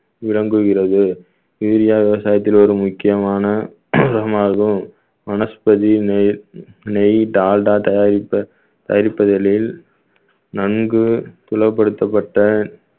விளங்குகிறது urea விவசாயத்தில் ஒரு முக்கியமான உரமாகும் மனஸ்பதி நெய் நெய் டால்டா தயாரிப்பு~ தயாரிப்புகளில் நன்கு புலப்படுத்தப்பட்ட